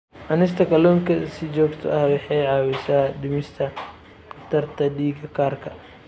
Cunista kalluunka si joogto ah waxay caawisaa dhimista khatarta dhiig karka.